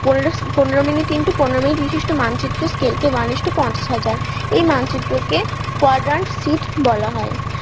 পনেরো পনেরো minute into পনেরো minute বিশিষ্ট মানচিত্রের স্কেল কে one ইস্টু পঞ্চাশ হাজার এই মানচিত্র কে quadrant sheet বলা হয়